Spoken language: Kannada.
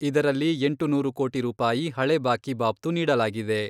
ಇದರಲ್ಲಿ ಎಂಟುನೂರು ಕೋಟಿ ರೂಪಾಯಿ ಹಳೆ ಬಾಕಿ ಬಾಬ್ತು ನೀಡಲಾಗಿದೆ.